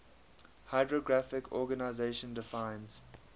hydrographic organization defines